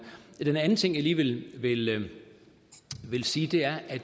den anden ting jeg lige vil vil sige er at